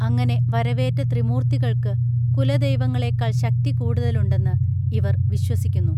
അങ്ങനെ വരവേറ്റ ത്രീമൂർത്തികൾക്ക് കുലദൈവങ്ങളെക്കാൾ ശക്തി കൂടുതലുണ്ടെന്ന് ഇവർ വിശ്വസിക്കുന്നു